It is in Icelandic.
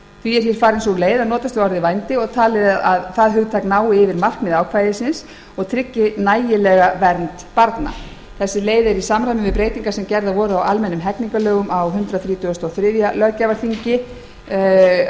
því er hér farin sú leið að notast við orðið vændi og talið að það hugtak nái yfir markmið ákvæðisins og tryggi nægilega vernd barna þessi leið er í samræmi við breytingar sem gerðar voru á almennum hegningarlögum á hundrað þrítugasta og þriðja löggjafarþingi samanber lög númer